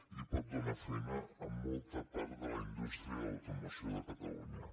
i pot donar feina a molta part de la indústria de l’automoció de catalunya